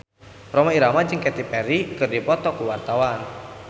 Rhoma Irama jeung Katy Perry keur dipoto ku wartawan